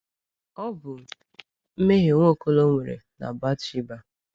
Ọ bụ mmehie Nwaokolo nwere na Bathsheba.